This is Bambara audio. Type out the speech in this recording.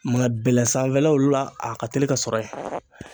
Ma bɛlɛ sanfɛlaw la a ka teli ka sɔrɔ yen